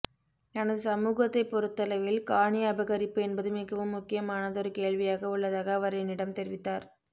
தனது சமூகத்தைப் பொறுத்தளவில் காணி அபகரிப்பு என்பது மிகவும் முக்கியமானதொரு கேள்வியாக உள்ளதாக அவர் என்னிடம் தெரிவித்தார்